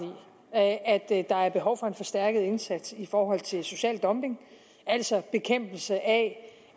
i at der er behov for en forstærket indsats i forhold til social dumping altså bekæmpelse af